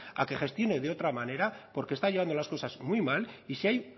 a que gestione de otra manera porque está llevando las cosas muy mal y si ahí